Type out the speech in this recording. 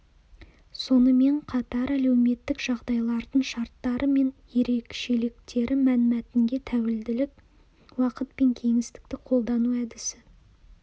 сонымен қатар әлеуметтік жағдайлардың шарттары мен ерекшеліктері мәнмәтінге тәуелділік уақыт пен кеңістікті қолдану әдісі